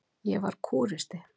Ég var kúristi.